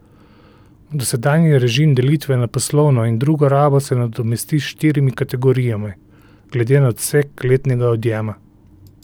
Dosedanji režim delitve na poslovno in drugo rabo se nadomesti s štirimi kategorijami, glede na obseg letnega odjema.